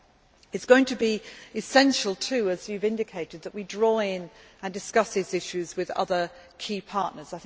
It is going to be essential too, as you have indicated, that we draw in and discuss these issues with other key partners.